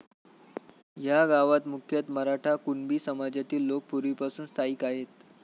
ह्या गावात मुख्यतः मराठा, कुणबी समाजातील लोक पूर्वीपासून स्थायिक आहेत.